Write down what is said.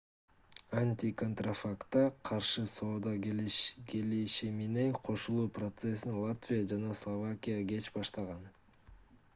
антиконтрафактка каршы соода келишимине кошулуу процессин латвия жана словакия кеч баштаган